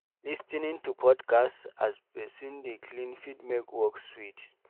Lis ten ing to podcast as person dey clean fit make work sweet